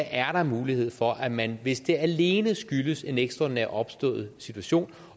er der mulighed for at man hvis det alene skyldes en ekstraordinært opstået situation